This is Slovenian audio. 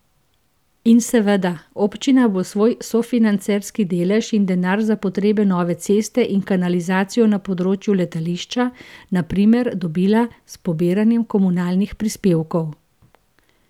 In seveda, občina bo svoj sofinancerski delež in denar za potrebne nove ceste in kanalizacijo na področju letališča, na primer, dobila s pobiranjem komunalnih prispevkov.